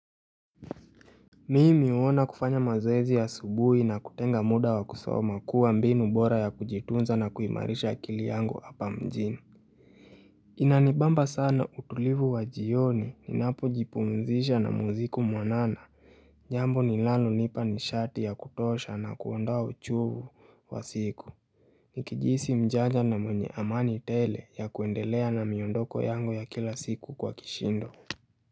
Mimi uona kufanya mazoezi ya asubuhi na kutenga muda wa kusoma kuwa mbinu bora ya kujitunza na kuimarisha akili yangu hapa mjini hh il, Inanibamba sana utulivu wa jioni ninapo jipumzisha na muziku mwanana Jambo linalo nipa ni shati ya kutosha na kuondoa uchovu wa siku Nikijisi mjaja na mwenye amani tele ya kuendelea na miondoko yangu ya kila siku kwa kishindo.